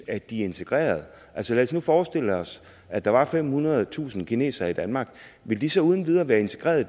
at de er integreret lad os nu forestille os at der var femhundredetusind kinesere i danmark ville de så uden videre være integreret i